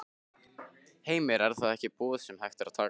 Heimir: Er það ekki boð sem hægt er að taka?